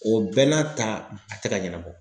O bɛɛ n'a ta a tɛ ka ɲɛnabɔ.